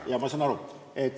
Jah, ma saan aru.